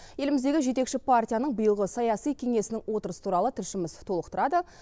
еліміздегі жетекші партияның биылғы саяси кеңесінің отырысы туралы тілшіміз толықтырады